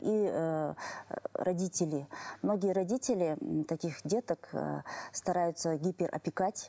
и ы родители многие родители таких деток ы стараются гиперопекать